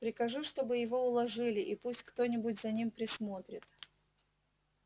прикажи чтобы его уложили и пусть кто-нибудь за ним присмотрит